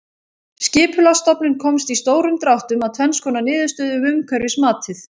Skipulagsstofnun komst í stórum dráttum að tvenns konar niðurstöðu um umhverfismatið.